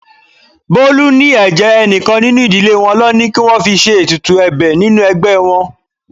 Bolu ní ẹ̀jẹ̀ enikan nínú ìdílé wọn lọ ní kí wọ́n fi ṣe ètùtù ẹ̀bẹ̀ nínú ẹgbẹ́ wọn.